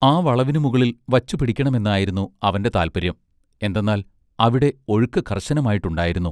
ആ വളവിനു മുകളിൽ വച്ചുപിടിക്കണമെന്നായിരുന്നു അവന്റെ താല്പര്യം എന്തന്നാൽ അവിടെ ഒഴുക്ക് കർശനമായിട്ട് ഉണ്ടായിരുന്നു.